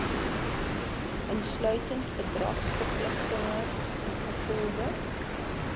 insluitend verdragsverpligtinge ingevolge